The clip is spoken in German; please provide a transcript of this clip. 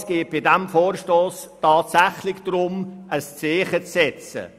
Es geht bei diesem Vorstoss tatsächlich darum, ein Zeichen zu setzen.